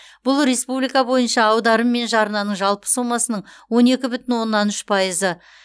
бұл республика бойынша аударым мен жарнаның жалпы сомасының он екі бүтін оннан үш пайызы